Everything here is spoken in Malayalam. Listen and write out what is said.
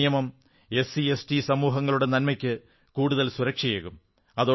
ഈ നിയമം പട്ടികജാതി പട്ടികവർഗ്ഗ സമൂഹങ്ങളുടെ നന്മയ്ക്ക് കൂടുതൽ സുരക്ഷയേകും